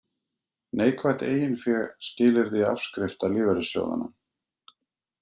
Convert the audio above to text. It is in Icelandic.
Neikvætt eiginfé skilyrði afskrifta lífeyrissjóðanna